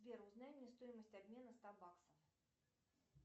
сбер узнай мне стоимость обмена ста баксов